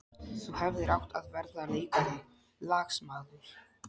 Þú hefðir átt að verða leikari, lagsmaður.